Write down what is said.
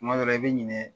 Kuma dɔ la i bɛ ɲinɛ